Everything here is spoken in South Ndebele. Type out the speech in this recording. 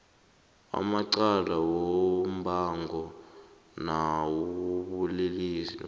amacala wombango nawobulelesi